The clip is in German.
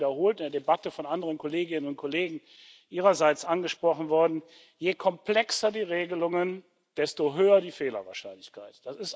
der ist ja auch wiederholt in der Debatte von anderen Kolleginnen und Kollegen ihrerseits angesprochen worden Je komplexer die Regelungen, desto höher die Fehlerwahrscheinlichkeit.